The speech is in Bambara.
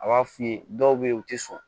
A b'a f'i ye dɔw bɛ yen u tɛ sɔn